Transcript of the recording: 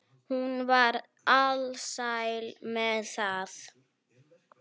Hún var alsæl með það.